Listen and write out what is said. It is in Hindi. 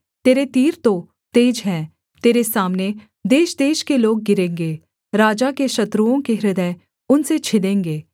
तेरे तीर तो तेज हैं तेरे सामने देशदेश के लोग गिरेंगे राजा के शत्रुओं के हृदय उनसे छिदेंगे